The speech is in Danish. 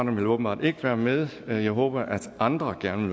vil åbenbart ikke være med men jeg håber at andre gerne